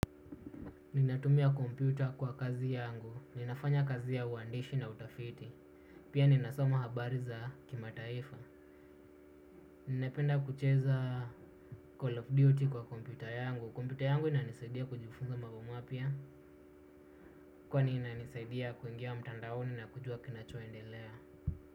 Ninatumia komputa kwa kazi yangu. Ninafanya kazi ya uandishi na utafiti. Pia ninasoma habari za kimataifa. Ninapenda kucheza call of duty kwa komputa yangu. Komputa yangu inanisaidia kujifunza mabo mapya. Kwani inanisaidia kuingia mtandaoni na kujua kinachoendelea.